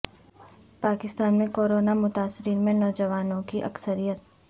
پاکستان میں corona متاثرین میں نوجوانوں کی اکثریت